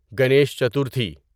Guinness Chaturthi